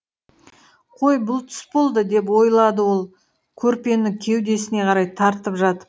қой бұл түс болды деп ойлады ол көрпені кеудесіне қарай тартып жатып